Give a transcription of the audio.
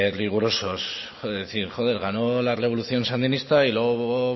rigurosos es decir ganó la revolución sandinista y luego